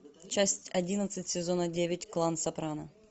часть одиннадцать сезона девять клан сопрано